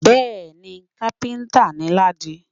Bẹ́ẹ̀ni, kápẹ́ńtà ni Ládi.